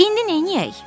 İndi neyləyək?